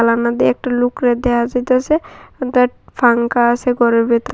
জালানা দিয়ে একজন লুকরে দেহা যাইতাসে একটা পাংখা আছে ঘরের ভিতর।